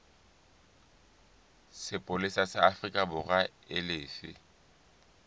sepolesa sa aforikaborwa e lefe